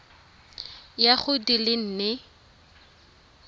ya go di le nne